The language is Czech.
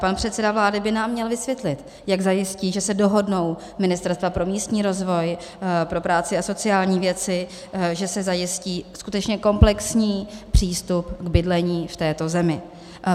Pan předseda vlády by nám měl vysvětlit, jak zajistí, že se dohodnou ministerstva pro místní rozvoj, pro práci a sociální věci, že se zajistí skutečně komplexní přístup k bydlení v této zemi.